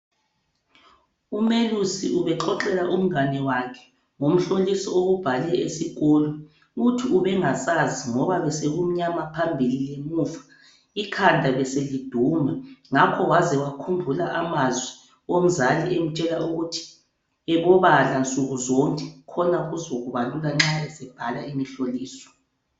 UMelusi ubexoxela umngane wakhe ngomhloliso owubhale esikolo. Uthi ubengasazi ngoba besekumnyama phambili lemuva. Ikhanda beseliduma, ngakho waze wakhumbula amazwi omzali emtshela ukuthi ebobala nsukuzonke khona kuzokuba lula nxa esebhala imhloliso.